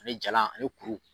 Finin jalan a ni kuru.